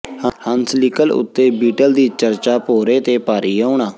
ਹੰਸਲੀਕਲ ਉੱਤੇ ਬੀਟਲ ਦੀ ਚਰਚਾ ਭੌਰੇ ਤੇ ਭਾਰੀ ਆਉਣਾ